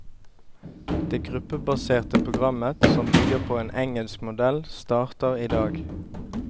Det gruppebaserte programmet som bygger på en engelsk modell starter i dag.